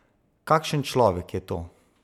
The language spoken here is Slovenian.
Kakšen človek je to?